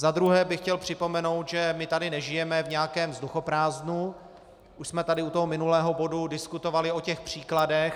Za druhé bych chtěl připomenout, že my tady nežijeme v nějakém vzduchoprázdnu, už jsme tady u toho minulého bodu diskutovali o těch příkladech.